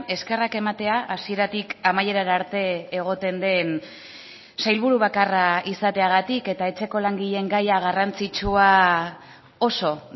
eskerrak ematea hasieratik amaiera arte egoten den sailburu bakarra izateagatik eta etxeko langileen gaia garrantzitsua oso